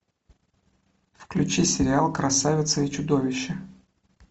включи сериал красавица и чудовище